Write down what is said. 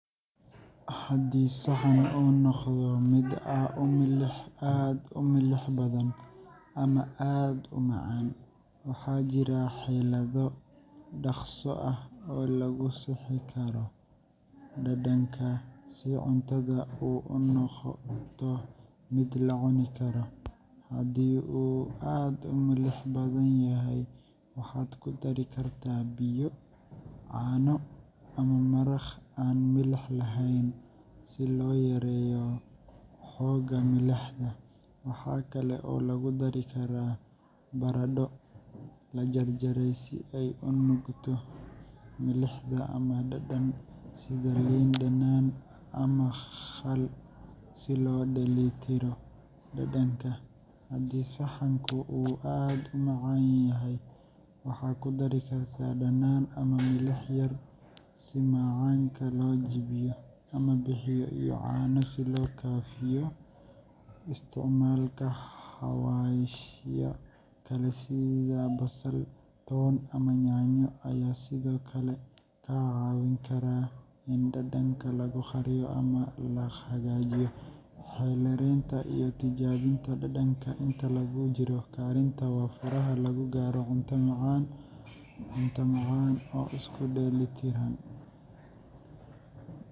Haddii saxan uu noqdo mid aad u milix badan ama aad u macaan, waxaa jira xeelado dhakhso ah oo lagu sixi karo dhadhanka si cuntadu u noqoto mid la cuni karo. Haddii uu aad u milix badan yahay, waxaad ku dari kartaa biyo, caano, ama maraq aan milix lahayn si loo yareeyo xoogga milixda. Waxa kale oo lagu dari karaa baradho la jarjaray si ay u nuugto milixda, ama dhanaan sida liin dhanaan ama khal si loo dheellitiro dhadhanka. Haddii saxanku uu aad u macaan yahay, waxaad ku dari kartaa dhanaan ama milix yar si macaanka loo jebiyo, ama biyo iyo caano si loo khafiifiyo. Isticmaalka xawaashyo kale sida basal, toon ama yaanyo ayaa sidoo kale kaa caawin kara in dhadhanka lagu qariyo ama la hagaajiyo. Xeeldheeraanta iyo tijaabinta dhadhanka inta lagu jiro karinta waa furaha lagu gaaro cunto macaan oo isu dheelitiran.